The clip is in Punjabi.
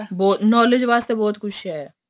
knowledge ਵਾਸਤੇ ਬਹੁਤ ਕੁੱਛ ਏ